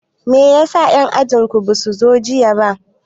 Meyasa en ajin ku basu zo jiya ba